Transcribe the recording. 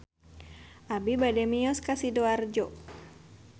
Abi bade mios ka Sidoarjo